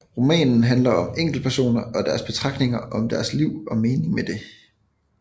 Romanen handler om enkeltpersoner og deres betragtninger om deres liv og meningen med det